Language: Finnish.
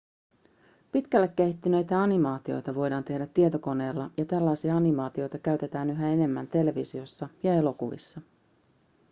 pitkälle kehittyneitä animaatioita voidaan tehdä tietokoneella ja tällaisia animaatioita käytetään yhä enemmän televisiossa ja elokuvissa